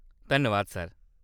धन्नबाद सर।